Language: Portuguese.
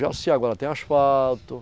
Jaci agora, tem asfalto.